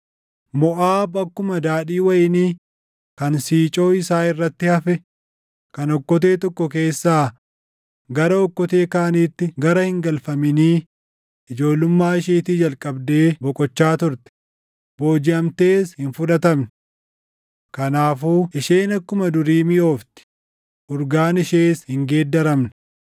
“Moʼaab akkuma daadhii wayinii kan siicoo isaa irratti hafe kan okkotee tokko keessaa gara okkotee kaaniitti gara hin galfaminii ijoollummaa isheetii jalqabdee boqochaa turte; boojiʼamtees hin fudhatamne. Kanaafuu isheen akkuma durii miʼoofti; urgaan ishees hin geeddaramne.